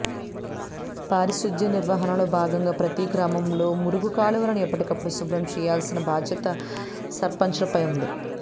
పారిశుధ్య నిర్వహణలో భాగంగా ప్రతీ గ్రామంలో మురుగు కాలువలను ఎప్పటికప్పుడు శుభ్రం చేయించాల్సిన బాధ్యత సర్పంచ్లపై ఉంది